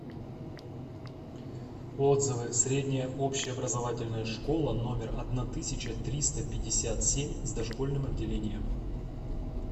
отзывы средняя общеобразовательная школа номер одна тысяча триста пятьдесят семь с дошкольным отделением